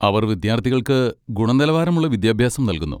അവർ വിദ്യാർത്ഥികൾക്ക് ഗുണനിലവാരമുള്ള വിദ്യാഭ്യാസം നൽകുന്നു.